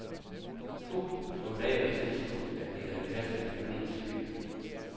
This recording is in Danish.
To soldater tilstod, at de havde kastet kanonslagene.